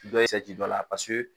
Dɔ ye sɛ ci dɔ la paseke